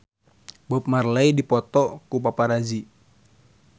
Bob Marley dipoto ku paparazi